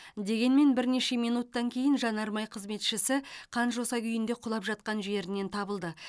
дегенмен бірнеше минуттан кейін жанармай қызметшісі қан жоса күйінде құлап жатқан жерінен табылды